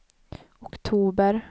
oktober